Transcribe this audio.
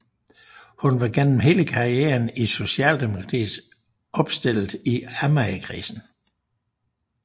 Hun var gennem hele karrieren i Socialdemokratiet opstillet i Amagerkredsen